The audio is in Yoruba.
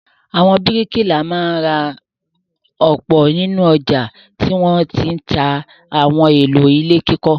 Àwọn bíríkìlà máa ń ra ọ̀pá ní ọjà tí wọ́n ti ń ta àwọn ohun-èlò ilé kíkọ́.